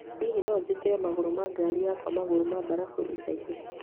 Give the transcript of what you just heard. Hihi no njĩkĩre magũrũ ma ngaari yakwa magũrũ ma mbarabu ica ikuhĩ